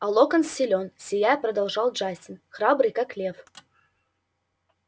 а локонс силен сияя продолжал джастин храбрый как лев